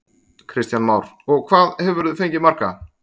Kristján Már: Og hvað, hvað hefurðu fengið marga?